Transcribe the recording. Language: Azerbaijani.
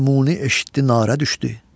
Dil Muni eşitdi narə düşdü.